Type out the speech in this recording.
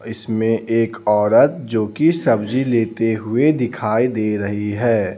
इसमें एक औरत जो कि सब्जी लेते हुए दिखाई दे रही है.